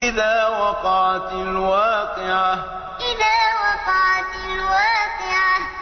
إِذَا وَقَعَتِ الْوَاقِعَةُ إِذَا وَقَعَتِ الْوَاقِعَةُ